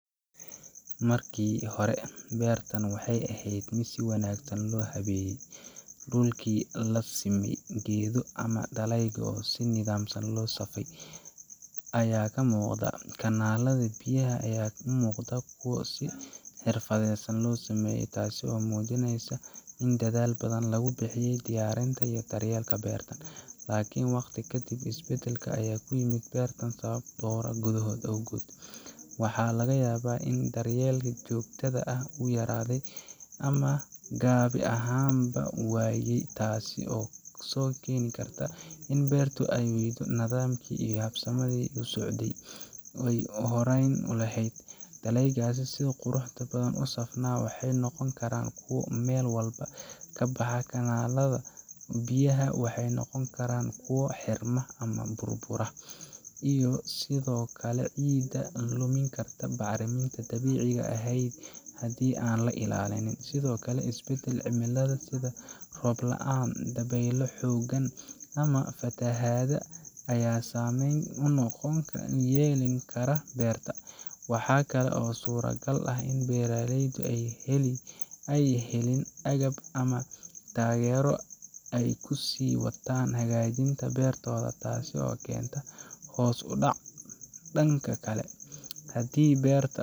Marki hore ee bertan waxee ehed miid si wanagsan lo hagajiye dulki lasime geedo ama daleygu si nidham ah lo abure aya kamuqodo , biya aya u muqda miid xirfadeysan, miid dadhal badan daryeelka in waqti isbadal, doro waxaa laga yawa tas oo beertu ee wayse nadham dib usocde, biyaha waxee noqon karan bacrimin n dabixi ah, waxaa kalo surta gal ah In beera leyda ee helin tagero hadii beerta.